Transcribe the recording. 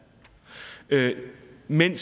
men